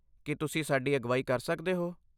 ਕੀ ਤੁਸੀਂ ਸਾਡੀ ਅਗਵਾਈ ਕਰ ਸਕਦੇ ਹੋ?